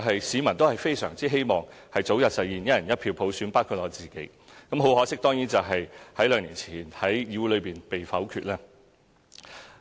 市民當然非常希望早日實現"一人一票"普選，包括我自己，可惜兩年前該方案已在議會中被否決了。